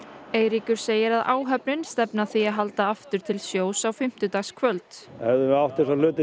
Eiríkur segir að áhöfnin stefni að því að halda aftur til sjós á fimmtudagskvöld hefðum við átt þessa hluti